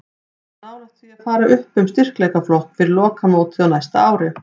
Við erum nálægt því að fara upp um styrkleikaflokk fyrir lokamótið á næsta ári.